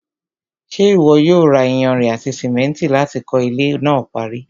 ṣé ìwọ yóò ra iyanrìn àti sìmẹ́ntì láti kọ́ ilẹ́ náà parí?